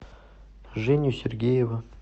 женю сергеева